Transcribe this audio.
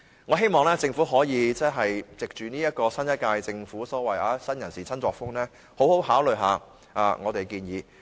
我希望政府可以藉着新一屆政府所謂新人事、新作風，好好考慮我們的建議。